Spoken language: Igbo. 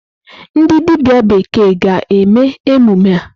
Ndi dibia bekee ga-eme emume a?